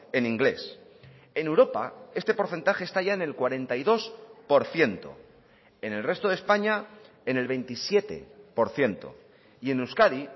en inglés en europa este porcentaje está ya en el cuarenta y dos por ciento en el resto de españa en el veintisiete por ciento y en euskadi